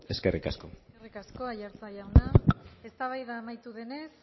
eskerrik asko eskerrik asko aiartza jauna eztabaida amaitu denez